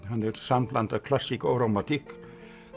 hann er sambland af klassík og rómantík